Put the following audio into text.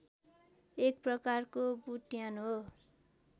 एक प्रकारको बुट्यान हो